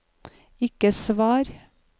ikke svar